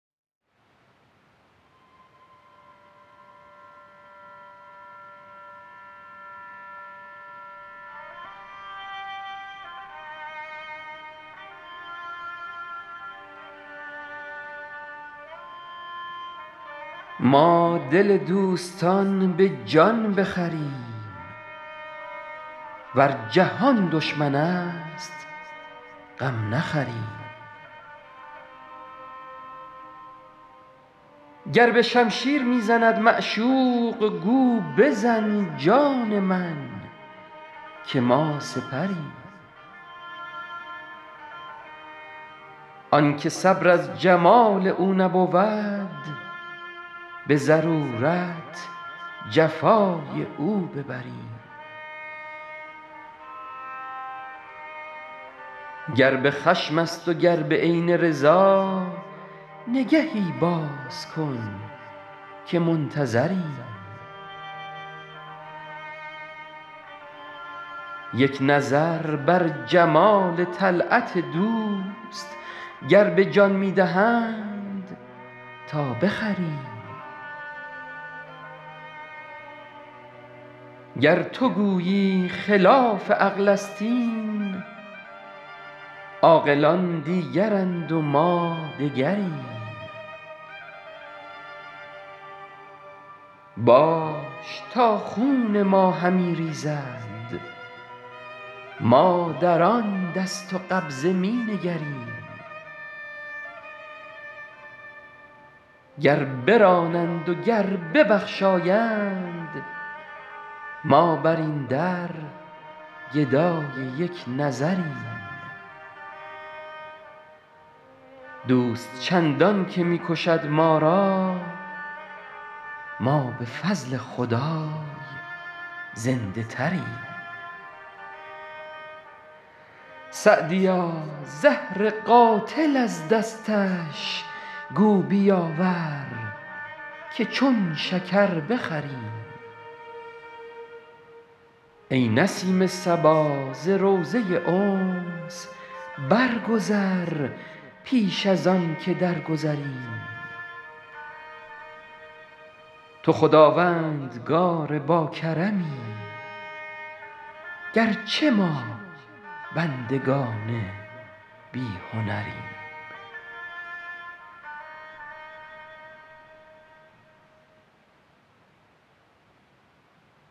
ما دل دوستان به جان بخریم ور جهان دشمن است غم نخوریم گر به شمشیر می زند معشوق گو بزن جان من که ما سپریم آن که صبر از جمال او نبود به ضرورت جفای او ببریم گر به خشم است و گر به عین رضا نگهی باز کن که منتظریم یک نظر بر جمال طلعت دوست گر به جان می دهند تا بخریم گر تو گویی خلاف عقل است این عاقلان دیگرند و ما دگریم باش تا خون ما همی ریزد ما در آن دست و قبضه می نگریم گر برانند و گر ببخشایند ما بر این در گدای یک نظریم دوست چندان که می کشد ما را ما به فضل خدای زنده تریم سعدیا زهر قاتل از دستش گو بیاور که چون شکر بخوریم ای نسیم صبا ز روضه انس برگذر پیش از آن که درگذریم تو خداوندگار باکرمی گر چه ما بندگان بی هنریم